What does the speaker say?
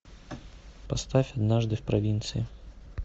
поставь однажды в провинции